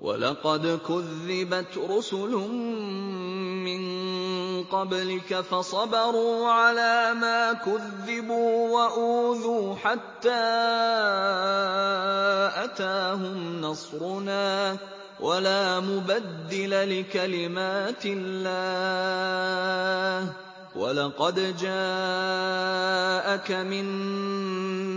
وَلَقَدْ كُذِّبَتْ رُسُلٌ مِّن قَبْلِكَ فَصَبَرُوا عَلَىٰ مَا كُذِّبُوا وَأُوذُوا حَتَّىٰ أَتَاهُمْ نَصْرُنَا ۚ وَلَا مُبَدِّلَ لِكَلِمَاتِ اللَّهِ ۚ وَلَقَدْ جَاءَكَ مِن